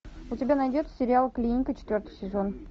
у тебя найдется сериал клиника четвертый сезон